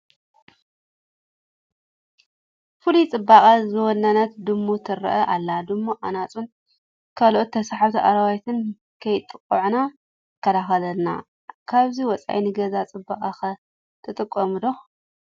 ፍሉይ ፅባቐ ዝወነነት ድሙ ትርአ ኣላ፡፡ ድሙ ኣናፁን ካልኦት ተሰሓብቲ ኣራዊትን ከየጥቅዑና ትከላኸለልና፡፡ ካብዚ ወፃኢ ንገዛ ፅባቐ ኸ ትጠቅም ዶ?